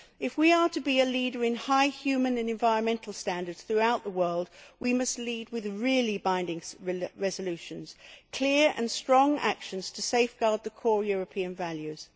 If we are to be a leader in high human and environmental standards throughout the world, we must lead with really binding resolutions, and with clear and strong actions to safeguard core European values.